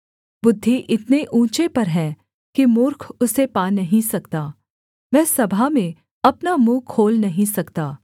बुद्धि इतने ऊँचे पर है कि मूर्ख उसे पा नहीं सकता वह सभा में अपना मुँह खोल नहीं सकता